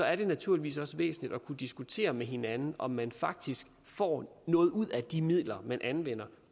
er det naturligvis også væsentligt at kunne diskutere med hinanden om man faktisk får noget ud af de midler man anvender